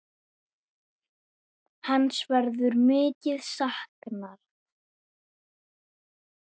Hans verður mikið saknað.